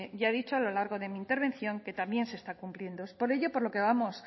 dicho a lo largo de mi intervención que también se está cumpliendo es por ello por lo que vamos